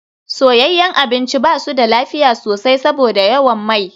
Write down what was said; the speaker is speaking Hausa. Soyayyen abinci ba su da lafiya sosai saboda yawan mai.